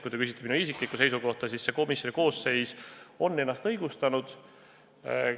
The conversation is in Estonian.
Kui te küsite minu isikliku seisukohta, siis selline komisjoni koosseis on ennast õigustanud.